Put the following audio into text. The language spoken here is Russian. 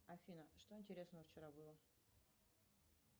афина что интересного вчера было